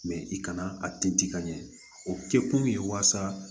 i kana a tinti ka ɲɛ o kɛkun ye walasa